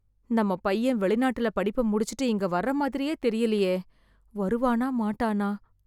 நம்ம பையன் வெளிநாட்டுல படிப்ப முடிச்சுட்டு இங்க வர்ற மாதிரியே தெரியலையே. வருவானா மாட்டானா?